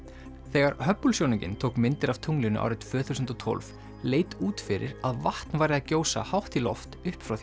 þegar Hubble sjónaukinn tók myndir af tunglinu árið tvö þúsund og tólf leit út fyrir að vatn væri að gjósa hátt í loft upp frá